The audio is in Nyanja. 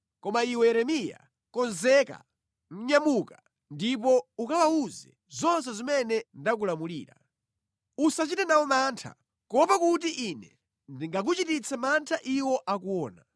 “Koma iwe Yeremiya konzeka! Nyamuka ndipo ukawawuze zonse zimene ndakulamulira. Usachite nawo mantha, kuopa kuti Ine ndingakuchititse mantha iwo akuona.